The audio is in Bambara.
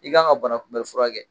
I kan ka bana kunbɛn fura kɛ